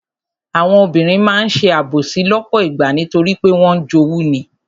Àwọn obìnrin máa ń ṣe àbòsí lọ́pọ̀ ìgbà nítorí pé wọ́n ń jowú ni.